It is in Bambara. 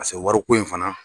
wari ko in fana.